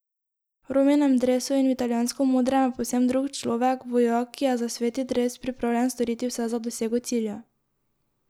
V Rominem dresu in v italijansko modrem je povsem drug človek, vojak, ki je za sveti dres pripravljen storiti vse za dosego cilja.